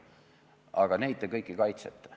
Aga neid kõiki te kaitsete.